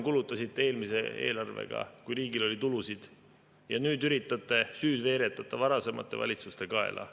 Kulutasite eelmise eelarvega miljardi rohkem, kui riigil oli tulusid, ja nüüd üritate süüd veeretada varasemate valitsuste kaela.